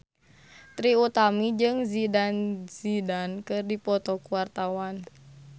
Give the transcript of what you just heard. Trie Utami jeung Zidane Zidane keur dipoto ku wartawan